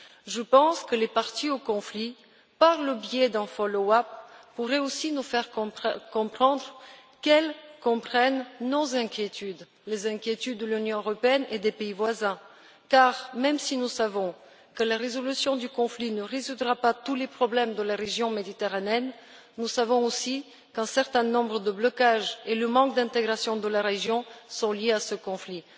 Je pense que les parties au conflit, par le biais d'un suivi, pourraient aussi nous montrer qu'elles comprennent nos inquiétudes les inquiétudes de l'Union européenne et des pays voisins car même si nous savons que la résolution du conflit n'amènera pas de solution à tous les problèmes de la région méditerranéenne, nous sommes aussi conscients qu'un certain nombre de blocages et le manque d'intégration de la région sont liés à ce conflit.